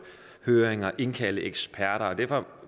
høringer og indkalde eksperter derfor